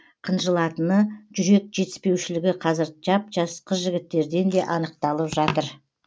қынжылатыны жүрек жетіспеушілігі қазір жап жас қыз жігіттерден де анықталып жатыр